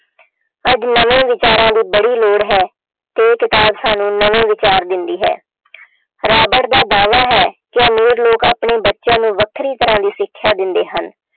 ਅੱਜ ਨਵੇਂ ਵਿਚਾਰਾਂ ਦੀ ਬੜੀ ਲੋੜ ਹੈ ਤੇ ਇਹ ਕਿਤਾਬ ਸਾਨੂੰ ਨਵੇਂ ਵਿਚਾਰ ਦਿੰਦੀ ਹੈ ਰਾਬਟ ਦਾ ਦਾਅਵਾ ਹੈ ਕਿ ਅਮੀਰ ਲੋਕ ਆਪਣੇ ਬੱਚਿਆਂ ਨੂੰ ਵੱਖਰੀ ਤਰ੍ਹਾਂ ਦੀ ਸਿੱਖਿਆ ਦਿੰਦੇ ਹਨ,